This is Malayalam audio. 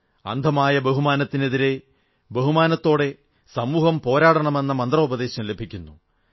അന്ധമായ ബഹുമാനത്തിനെതിരെ ബഹുമാനത്തോടെ സമൂഹം പോരാടണമെന്ന മന്ത്രോപദേശം ലഭിക്കുന്നു